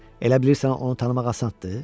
Elə bilirsən onu tanımaq asanddır?